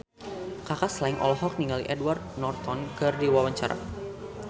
Kaka Slank olohok ningali Edward Norton keur diwawancara